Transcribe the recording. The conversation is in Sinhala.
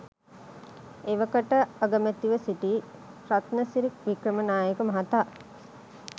එවකට අගමැතිව සිිටි රත්නසිරි වික්‍රමනායක මහතා